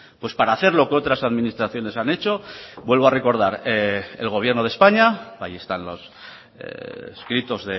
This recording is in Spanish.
pues para hacer lo que otras administraciones han hecho vuelvo a recordar el gobierno de españa ahí están los escritos